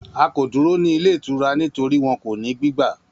A ko duro ni ile itura nitori wọn ko ni gbigba